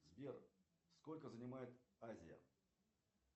сбер сколько занимает азия